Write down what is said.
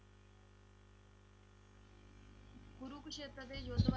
ਕੁਰੂਕਸ਼ੇਤਰ ਦੇ ਯੁੱਧ ਵਾਰੇ